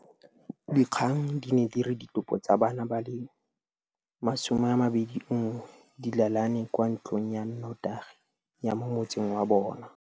Dikgang di ne di re ditopo tsa bana ba le 21 di lalane kwa ntlong ya notagi ya mo motseng wa bona.